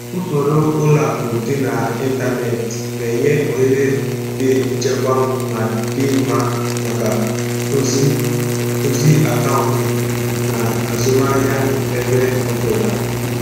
Usoro ụlọ akụ dị n'ịntanetị na-enye ohere dị nchekwa ma dị mma maka ozi ozi akaụntụ na azụmahịa ebe ọ bụla.